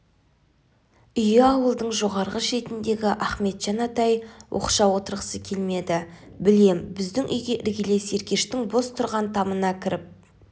үйі ауылдың жоғарғы шетіндегі ахметжан атай оқшау отырғысы келмеді білем біздің үйге іргелес еркештің бос тұрған тамына кіріп